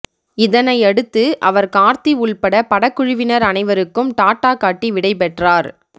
இதனையடுத்து அவர் கார்த்தி உள்பட படக்குழுவினர் அனைவருக்கும் டாட்டா காட்டி விடைபெற்றார்